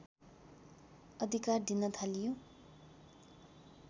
अधिकार दिन थालियो